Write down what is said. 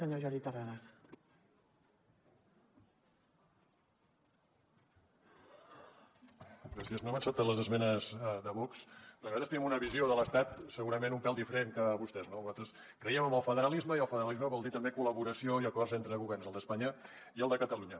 no hem acceptat les esmenes de vox perquè nosaltres tenim una visió de l’estat segurament un pèl diferent que vostès no nosaltres creiem en el federalisme i el federalisme vol dir també col·laboració i acords entre governs el d’espanya i el de catalunya